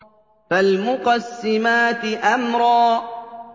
فَالْمُقَسِّمَاتِ أَمْرًا